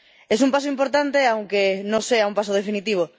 Es un paso importante, aunque no sea un paso definitivo.